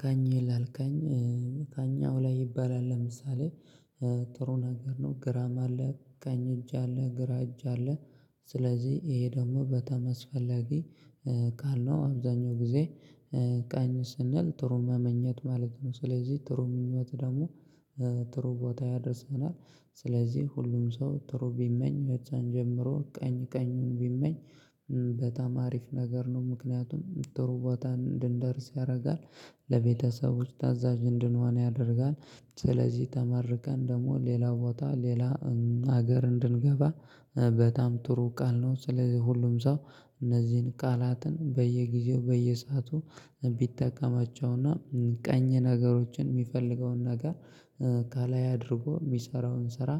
ካኝ ይላል ካኝ ከእኛው ላይ ይባላል ለምሳሌ ጥሩ ነገር ነው ግራም አለ ቀኝ እጅ አለ ግራ እጅ አለ። ስለዚህ ይሄ ደግሞ በጣምአስፈለጊ ቃል ነው አብዛኛው ጊዜ። ቃኝ ስንል ጥሩ መመኘት ማለት ነው። ስለዚህ ጥሩ ምኞት ደግሞ ጥሩ ቦታ ያደርሰናል። ስለዚህ ሁሉም ሰው ጥሩ ቢመኝ በዛን ጀምሮ ቀኝ ቀኙን ቢመኝ። በጣም አሪፍ ነገር ነው ምክንያቱም ጥሩ ቦታ እንድንደርስ ያደርጋል። ለቤተሰቦች ታዛዥ እንድንሆን ያደርጋል ስለዚህ ተመርቀን ደግሞ ሌላ ቦታ ሌላ ሀገር እንድንገባ በጣም ጥሩ ቃል ነው። ስለዚህ ሁሉም ሰው እነዚህን ቃላትን በየጊዜው በየሰአቱ ቢጠቀማቸውና ቀኝ ነገሮችን የሚፈልገውን ነገር ከላይ አድርጎ የሚሰራውን ስራ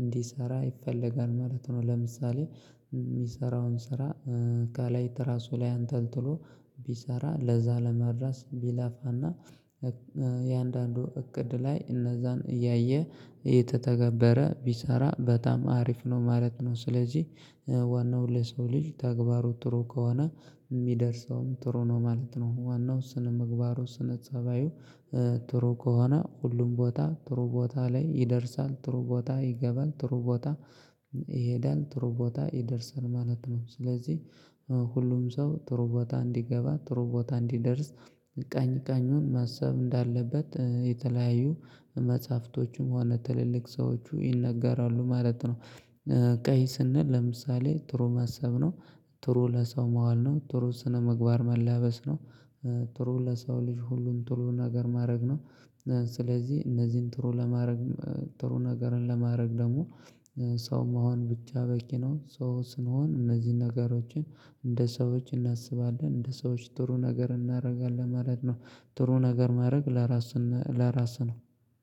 እንዲሰራ ይፈለጋል ማለት ነው። ለምሳሌ የሚሰራውን ስራ ከላይ ትራሱ ላይ አንጠልጥሎ ቢሰራ ለዛ ለመድረስ ቢላፋና። የአንዳንዱ እቅድ ላይ እነዛን እያየ የተተገበረ ቢሰራ በጣም አሪፍ ነው ማለት ነው። ስለዚህ ዋናው ለሰው ልጅ ተግባሩ ጥሩ ከሆነ የሚደርሰውም ጥሩ ነው ማለት ነው። ዋናው ስነ ምግባሩ ስነ ፀባዩ ጥሩ ከሆነ ሁሉም ቦታ ጥሩ ቦታ ላይ ይደርሳል ጥሩ ቦታ ይገባል ጥሩ ቦታ። ይሄዳል ጥሩ ቦታ ይደርሰን ማለት ነው። ስለዚህ ሁሉም ሰው ጥሩ ቦታ እንዲገባ ጥሩ ቦታ እንዲደርስ ቀኝ ቀኙን ማሰብ እንዳለበት የተለያዩ መጽሐፍቶችም ሆነ ትልልቅ ሰዎች ይነገራሉ ማለት ነው። ቀይ ስንል ለምሳሌ ጥሩ ማሰብ ነው። ጥሩ ለሰው መዋል ነው ጥሩ ስነምግባር መላበስ ነው። ጥሩ ለሰው ልጅ ሁሉን ጥሩ ነገር ማድረግ ነው። ስለዚህ እነዚህን ጥሩ ለማድረግ ጥሩ ነገርን ለማድረግ ደግሞ ሰው መሆን ብቻ በቂ ነው። ሶ ስንሆን እነዚህን ነገሮችን እንደ ሰዎች እናስባለን እንደ ሰዎች ጥሩ ነገር እናደርጋለን ማለት ነው። ጥሩ ነገር ማድረግ ለራስህ ለራስህ ነው።